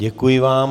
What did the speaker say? Děkuji vám.